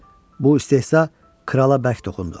Bu istehza krala bərk toxundu.